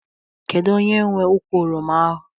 Kedu onye nwe ukwu oroma ahụ?